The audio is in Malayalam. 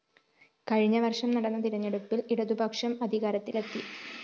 കഴിഞ്ഞവര്‍ഷം നടന്ന തെരഞ്ഞെടുപ്പില്‍ ഇടതുപക്ഷം അധികാരത്തിലെത്തി